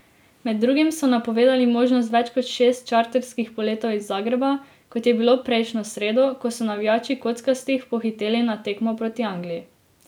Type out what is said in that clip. Med drugim so napovedali možnost več kot šest čarterskih poletov iz Zagreba, kot je bilo prejšnjo sredo, ko so navijači kockastih pohiteli na tekmo proti Angliji.